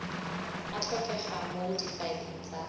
a tlhokegang mo difaeleng tsa